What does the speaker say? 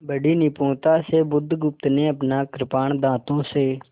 बड़ी निपुणता से बुधगुप्त ने अपना कृपाण दाँतों से